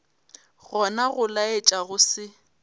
gona go laetša go se